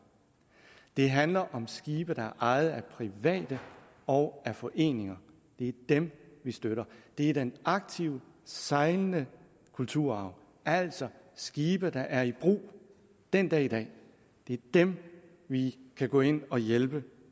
det handler om skibe der er ejet af private og af foreninger det er dem vi støtter det er den aktive sejlende kulturarv altså skibe der er i brug den dag i dag det er dem vi kan gå ind at hjælpe